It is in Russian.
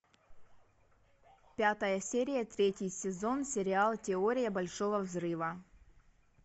пятая серия третий сезон сериал теория большого взрыва